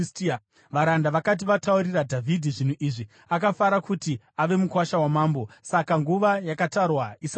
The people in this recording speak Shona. Varanda vakati vataurira Dhavhidhi zvinhu izvi, akafara kuti ave mukuwasha wamambo. Saka nguva yakatarwa isati yapera,